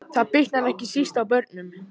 Það bitnar ekki síst á börnum